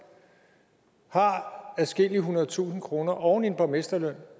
har adskillige hundrede tusind kroner oven i en borgmesterløn